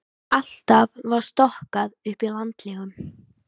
Alltaf var stokkað upp í landlegum.